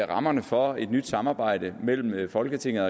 rammerne for et nyt samarbejde mellem folketinget og